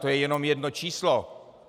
To je jenom jedno číslo.